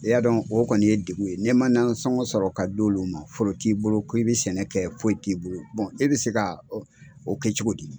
I y'a dɔn o kɔni ye degun ye ne ma nasɔngɔ sɔrɔ ka d'olu ma foro t'i bolo ko i bi sɛnɛ kɛ foyi t'i bolo e bɛ se ka o kɛ cogo di.